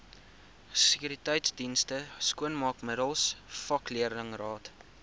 sekuriteitsdienste skoonmaakmiddels vakleerlingraad